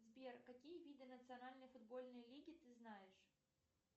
сбер какие виды национальной футбольной лиги ты знаешь